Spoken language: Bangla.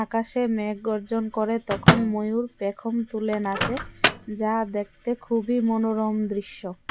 আকাশে মেঘ গর্জন করে তখন ময়ূর পেখম তুলে নাচে যা দেখতে খুবই মনোরম দৃশ্য।